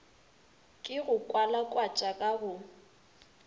ke go kwalakwatšwa ka go